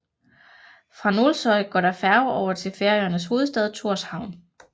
Fra Nólsoy går der færge over til Færøernes hovedstad Thorshavn